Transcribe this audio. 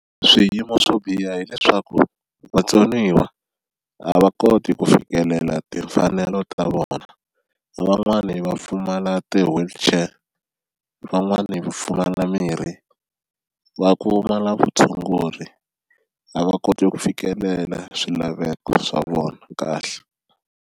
Swiyimo swo biha hileswaku vatsoniwa a va koti ku fikelela timfanelo ta vona van'wani va pfumala ti-wheelchair van'wani va pfumala mirhi va pfumala vutshunguri a va koti ku fikelela swilaveko swa vona kahle.